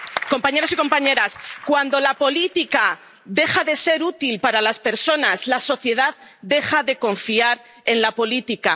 Compañeros y compañeras, cuando la política deja de ser útil para las personas, la sociedad deja de confiar en la política.